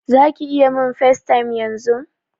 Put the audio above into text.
Zaki iya min FaceTime yanzun?